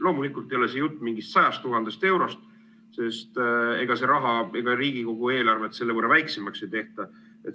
Loomulikult ei ole siin jutt mingist 100 000 eurost, sest ega Riigikogu eelarvet selle võrra väiksemaks ei tehta.